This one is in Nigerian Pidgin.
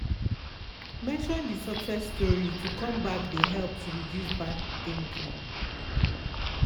mention de success story to comeback de help to reduce bad thinking.